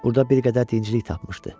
Burda bir qədər dincilik tapmışdı.